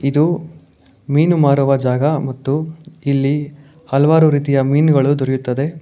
ಇದು ಮೀನು ಮಾರುವ ಜಾಗ ಮತ್ತು ಇಲ್ಲಿ ಹಲವಾರು ರೀತಿಯ ಮೀನುಗಳು ದೊರೆಯುತ್ತದೆ.